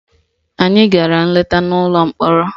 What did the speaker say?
Anyị gara nleta n'ụlọ mkpọrọ